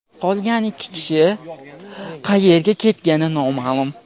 qolgan ikki kishi qayerga ketgani noma’lum.